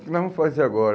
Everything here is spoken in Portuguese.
O que nós vamos fazer agora?